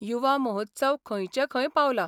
युवा महोत्सव खंयचे खंय पावला.